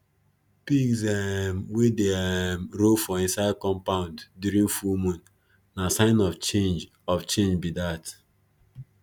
pigs um wey dey um roll for inside compound during full moon na sign of change of change be dat